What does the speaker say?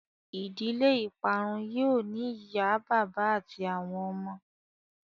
Ìdílé ìparun yóó ní ìyá bàbá àti àwọn ọmọ.